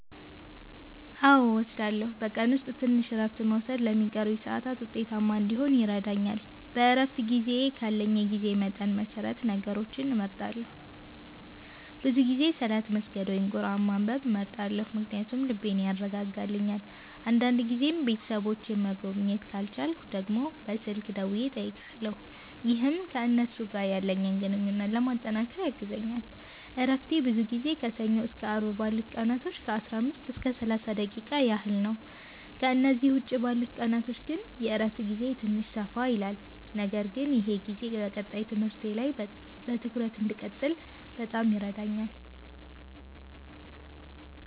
አዎ እወስዳለሁኝ፤ በቀን ውስጥ ትንሽ እረፍት መውሰድ ለሚቀሩኝ ሰዓታት ውጤታማ እንዲሆን ይረዳኛል። በእረፍት ጊዜዬ ካለኝ የጊዜ መጠን መሰረት ነገሮችን እመርጣለሁ፤ ብዙ ጊዜ ሰላት መስገድ ወይም ቁርአን ማንበብ እመርጣለሁ ምክንያቱም ይህ ልቤን ያረጋጋልኛል። አንዳንድ ጊዜም ቤተሰቦቼን መጎብኘት ካልቻልኩ ደግሞ በስልክ ደውዬ እጠይቃለሁ፣ ይህም ከእነሱ ጋር ያለኝን ግንኙነት ለማጠናከር ያግዘኛል። እረፍቴ ብዙ ጊዜ ከሰኞ እስከ አርብ ባሉት ቀናቶች ከ15 እስከ 30 ደቂቃ ያህል ነው፤ ከእነዚህ ውጭ ባሉት ቀናቶች ግን የእረፍት ጊዜዬ ትንሽ ሰፋ ይላል። ነገር ግን ይህ ጊዜ በቀጣይ ትምህርቴ ላይ በትኩረት እንድቀጥል በጣም ይረዳኛል።